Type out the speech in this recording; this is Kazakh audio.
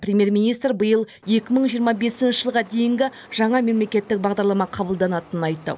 премьер министр биыл екі мың жиырма бесінші жылға дейінгі жаңа мемлекеттік бағдарлама қабылданатынын айтты